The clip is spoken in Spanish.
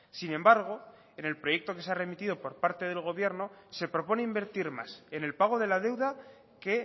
sin embargo en el proyecto que se ha remitido por parte del gobierno se propone invertir más en el pago de la deuda que